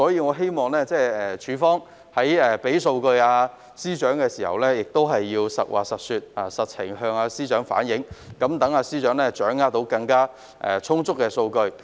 我希望署方在向司長提供數據時，能夠反映實情，以便司長掌握充分的數據。